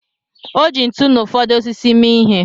O ji ntu na ụfọdụ osisi mee ihe.